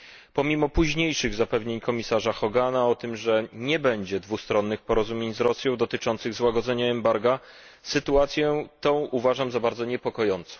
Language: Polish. Pomimo późniejszych zapewnień komiarza Hogana o tym, że nie będzie dwustronnych porozumień z Rosją dotyczących złagodzenia embarga, sytuację tę uważam za bardzo niepokojącą.